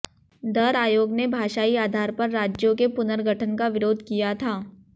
दर आयोग ने भाषाई आधार पर राज्यों के पुनर्गठन का विरोध किया था